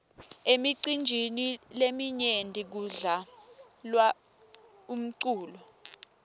emicinjini leminyenti kudla lwa umculo